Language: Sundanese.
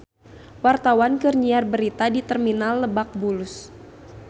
Wartawan keur nyiar berita di Terminal Lebak Bulus